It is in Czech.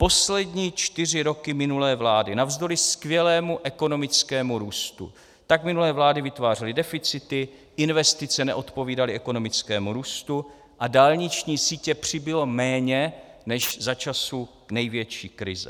Poslední čtyři roky minulé vlády, navzdory skvělému ekonomickému růstu, tak minulé vlády vytvářely deficity, investice neodpovídaly ekonomickému růstu a dálniční sítě přibylo méně než za časů největší krize.